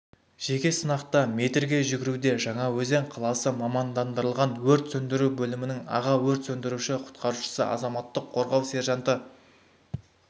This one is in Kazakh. жеке сынақта метрге жүгіруде жаңаөзен қаласы мамандандырылған өрт сөндіру бөлімінің аға өрт сөндіруші-құтқарушысы азаматтық қорғау сержанты